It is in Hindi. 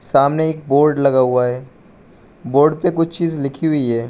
सामने एक बोर्ड लगा हुआ है बोर्ड पे कुछ चीज़ लिखी हुई है।